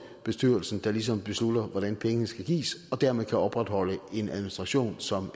er bestyrelsen der ligesom beslutter hvordan pengene skal gives og dermed kan opretholde en administration som